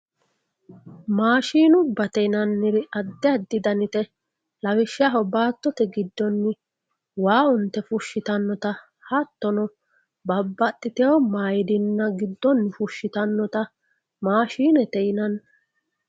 maashinubbate yinanniti addi addi danite lawishshaho baattote giddonni waa unte fushshitannota hottono babbaxitino maidinna giddonni fushshitannota maashinete yinanni.